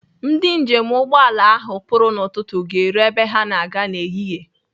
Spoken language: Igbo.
Ndị njem ụgbọala ahụ pụrụ n'ụtụtụ ga-eru ebe ha na-aga n'ehihie.